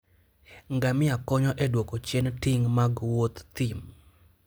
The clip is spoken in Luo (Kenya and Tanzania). ngamia konyo e duoko chien ting' mag Wuoth thim.